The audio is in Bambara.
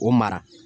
O mara